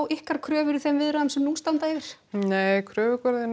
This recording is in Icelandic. ykkar kröfur í þeim viðræðum sem nú standa yfir nei kröfugerðin